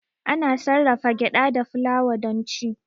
Ana sarrafa gyada da fulawa don ci.